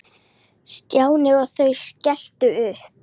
Stjáni og þau skelltu upp úr.